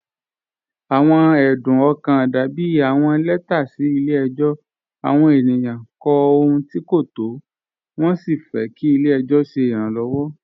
Awọn ẹdún ọkan dàbí awọn lẹtà sí ilẹ̀-ẹjọ. Awọn ènìyàn kọ̀ ọ̀hùn tí̀ kò tó, wọn sí fẹ́ kí ilẹ̀-ẹjọ ṣẹ̀ iránlọ́wọ́.